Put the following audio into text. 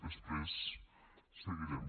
després seguirem